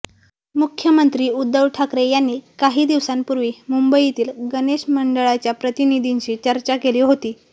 मुख्यमंत्री उद्धव ठाकरे यांनी काही दिवसांपूर्वी मुंबईतील गणेश मंडळांच्या प्रतिनिधींशी चर्चा केली होती